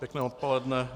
Pěkné odpoledne.